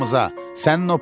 düş yanımıza.